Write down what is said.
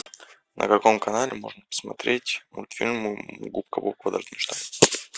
на каком канале можно посмотреть мультфильм губка боб квадратные штаны